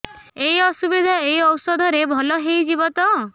ଏଇ ଅସୁବିଧା ଏଇ ଔଷଧ ରେ ଭଲ ହେଇଯିବ ତ